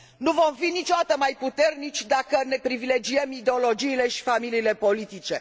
Nu vom fi niciodată mai puternici dacă ne privilegiem ideologiile și familiile politice.